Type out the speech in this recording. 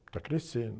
Está crescendo.